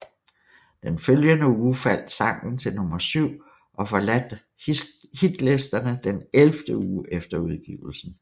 Den følgende uge faldt sangen til nummer syv og forladt hitlisterne den ellevte uge efter udgivelsen